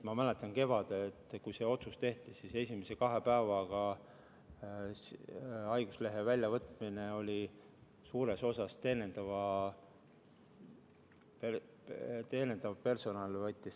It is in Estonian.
Ma mäletan, et kevadel, kui see otsus tehti, siis esimese kahe päevaga võttis haiguslehte suures osas teenindav personal.